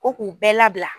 Ko k'u bɛɛ labila